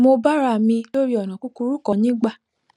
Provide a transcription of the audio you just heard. mo bára mi lórí ònà kúkúrú kan nígbà